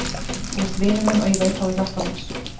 Þú ert vinur minn og ég veit að þú hjálpar mér.